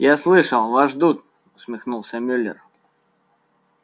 я слышал вас ждут усмехнулся мюллер